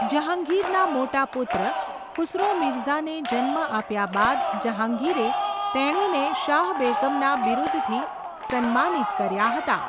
જહાંગીરના મોટા પુત્ર ખુસરો મિર્ઝાને જન્મ આપ્યા બાદ જહાંગીરે તેણીને શાહ બેગમના બિરુદથી સન્માનિત કર્યા હતા.